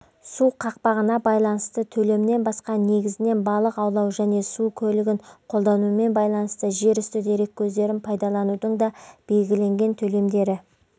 су қақпағына байланысты төлемнен басқа негізінен балық аулау және су көлігін қолданумен байланысты жерүсті дереккөздерін пайдаланудың да белгіленген төлемдері